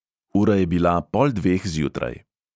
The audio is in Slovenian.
Ura je bila pol dveh zjutraj.